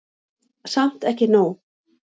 Samt ekki nóg.